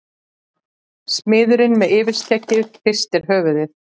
Smiðurinn með yfirskeggið hristir höfuðið.